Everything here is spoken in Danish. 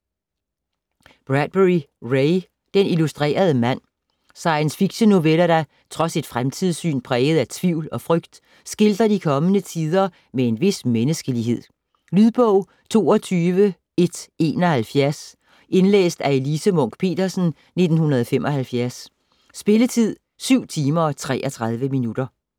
Bradbury, Ray: Den illustrerede mand Science fiction-noveller der, trods et fremtidssyn præget af tvivl og frygt, skildrer de kommende tider med en vis menneskelighed. Lydbog 22171 Indlæst af Elise Munch-Petersen, 1975. Spilletid: 7 timer, 33 minutter.